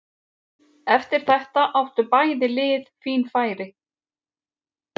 Eftir þetta áttu bæði lið fín færi.